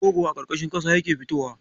Rogo a ƙarƙashin ƙasa yake fitowa.